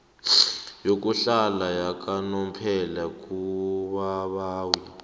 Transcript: yokuhlala yakanomphela kubabawi